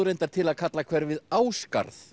reyndar til að kalla hverfið